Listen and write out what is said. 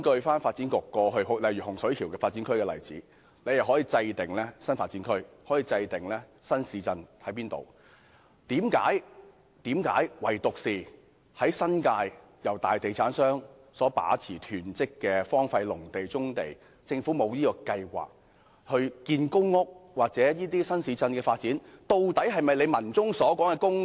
發展局過去針對洪水橋發展區，可以制訂新發展區、新市鎮的位置，但為何唯獨在新界，大地產商大量囤積荒廢農地、棕地，政府沒有計劃興建公屋或發展新市鎮？